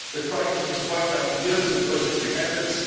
The crisis has wiped out years of budgetary efforts.